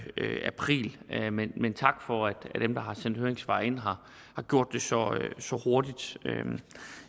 april men tak for at dem der har sendt høringssvar ind har gjort det så så hurtigt